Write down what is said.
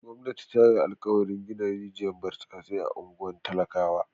Gwamnati ta yi alkawarin gina rijiyar burtsatse a unguwannin talakawa.